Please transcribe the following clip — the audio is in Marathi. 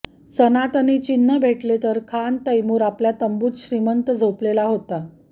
सनातनी चिन्ह भेटले तर खान तैमूर आपल्या तंबूत श्रीमंत झोपलेला होता